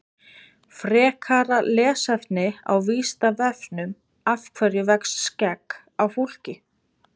frekara lesefni á vísindavefnum af hverju vex skegg á fólki